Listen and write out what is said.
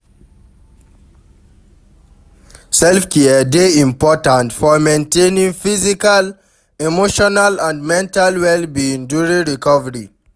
Self-care dey important for maintaining physical, emotional and mental well-being during recovery.